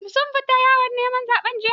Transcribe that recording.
Shin sun fita yawon neman zaɓe jiya?